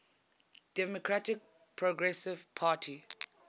democratic progressive party